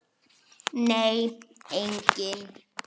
Nei, enginn